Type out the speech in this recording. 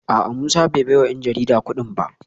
A’a Musa bai baiwa ‘yan jarida kudin ba